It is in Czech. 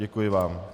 Děkuji vám.